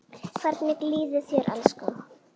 Hvernig líður þér, elskan?